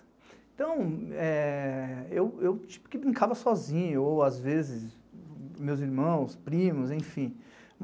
Então, é, eu tipo que brincava sozinho, ou às vezes, meus irmãos, primos, enfim.